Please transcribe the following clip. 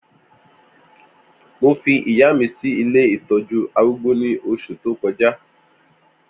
Mó fi ìyá mi si ilé itọ̀jù árùgbó ni óṣú tókọ̀já